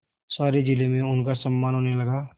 सारे जिले में उनका सम्मान होने लगा